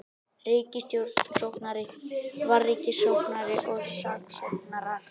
Ríkissaksóknari, vararíkissaksóknari og saksóknarar.